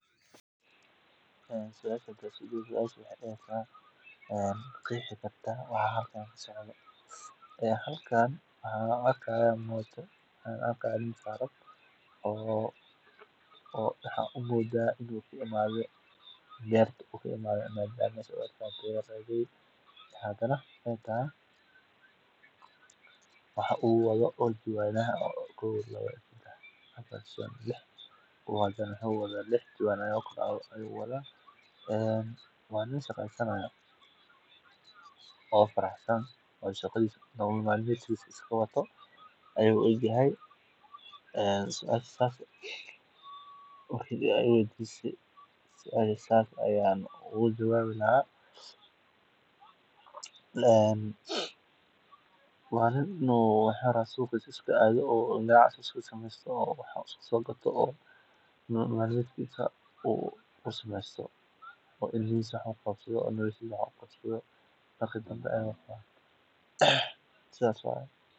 Ee suasha hadaa isku dayo waxaa waye maqexi kartaa waxa halkan kasocdo halkan waxannarki haya mota nin saran oo beerta kaimate oo jawana lix jawan ayu wadha waa nin shaqesanaya oo nolol maalmedkisa wato waa nin in u iska ganacsadho rawo sithas ayan u maleyni haya in u cidisa kudaqto sithas waye.